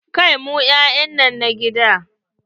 Kai mun 'ya'ya na gida!